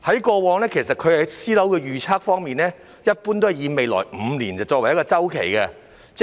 過往在私樓預測方面，他一般以未來5年作為一個周期。